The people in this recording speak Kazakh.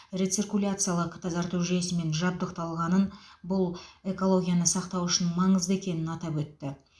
рециркуляциялық тазарту жүйесімен жабдықталғанын бұл экологияны сақтау үшін маңызды екенін атап өтті